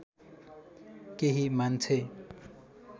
केही मान्छे